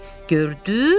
Gördüz?